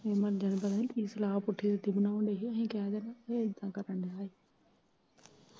ਮੁੰਡਿਆ ਪਤਾ ਨੀ ਕੀ ਸਲਾਹ ਪੁੱਠੀ ਪੁੱਠੀ ਬਨਾਉਣ ਡੇ ਹੀ ਅਸੀਂ ਕਹਿ ਦੇਣਾ ਉਹ ਏਦਾ ਕਰਨ ਡਿਆਂ ਏ।